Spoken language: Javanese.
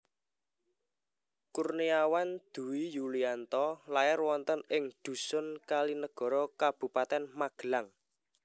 Kurniawan Dwi Yulianto lair wonten ing dhusun Kalinegoro Kabupatèn Magelang